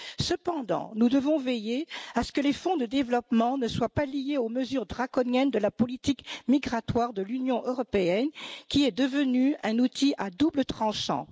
Cependant, nous devons veiller à ce que les fonds de développement ne soient pas liés aux mesures draconiennes de la politique migratoire de l'Union européenne, qui est devenue un outil à double tranchant.